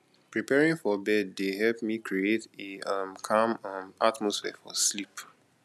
preparing for bed dey help me create a um calm um atmosphere for sleep